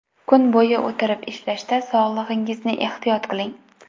Kun bo‘yi o‘tirib ishlashda sog‘lig‘ingizni ehtiyot qiling.